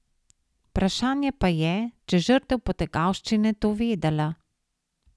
Vprašanje pa je, če žrtev potegavščine to vedela.